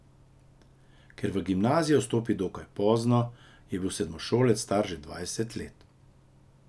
Ker je v gimnazijo vstopil dokaj pozno, je bil kot sedmošolec star že dvajset let.